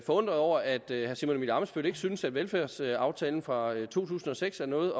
forundret over at herre simon emil ammitzbøll ikke synes at velfærdsaftalen fra to tusind og seks er noget